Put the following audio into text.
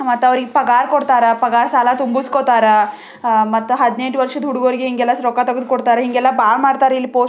ಮತ್ತೌರಿಗ್ ಪಗಾರ್ ಕೊಡ್ತಾರಾ ಪಾಗಾರ್ ಸಾಲ ತುಂಬುಸ್ಕೊತಾರ ಆ ಮತ್ತ ಹದಿನೆಂಟು ವರ್ಷದ ಹುಡುಗರಿಗೆ ಹೆಂಗೆಲ್ಲಾ ರೊಕ್ಕ ತೆಗೆದು ಕೊಡ್ತಾರೆ ಹಿಂಗೆಲ್ಲ ಬಾಳ್ ಮಾಡ್ತಾರೆ ಇಲ್ಲಿ ಪೋಸ್ಟ್ --